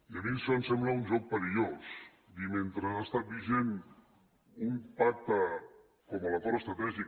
i a mi això em sembla un joc perillós dir mentre ha estat vigent un pacte com l’acord estratègic